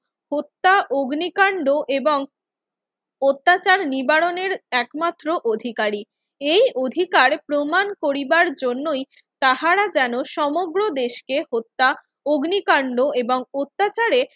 হত্যা, অগ্নিকাণ্ড এবং অত্যাচার নিবারণের একমাত্র অধিকারী। এই অধিকার প্রমাণ করিবার জন্যই তাহারা যেন সমগ্র দেশকে হত্যা, অগ্নিকাণ্ড এবং অত্যাচারে